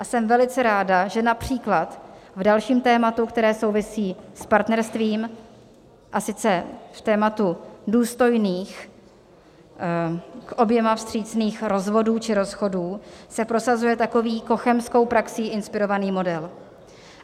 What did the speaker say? A jsem velice ráda, že například v dalším tématu, které souvisí s partnerstvím, a sice v tématu důstojných, k oběma vstřícných rozvodů či rozchodů, se prosazuje takový cochemskou praxí inspirovaný model.